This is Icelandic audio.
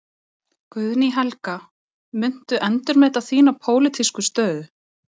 Guðný Helga: Muntu endurmeta þína pólitísku stöðu?